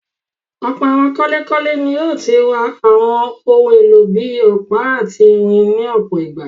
Ọ̀pọ̀ àwọn kọ́lékọ́lé ni ó ti rà àwọn ohun-èlò bí i ọ̀pá àti irin ní ọ̀pọ̀ ìgbà.